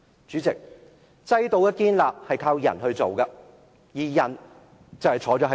主席，制度的建立是靠人來做的，而人就坐在這裏。